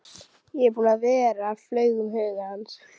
Ég er búinn að vera, flaug um huga hans.